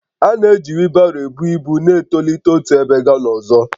A na-eji wheelbarrows ebu ibu na-etolite otu ebe gaa n'ọzọ